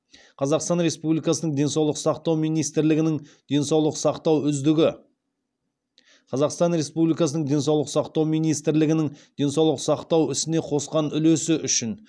қазақстан республикасының денсаулық сақтау министрлігінің денсаулық сақтау үздігі қазақстан республикасының денсаулық сақтау министрлігінің денсаулық сақтау ісіне қосқан үлесі үшін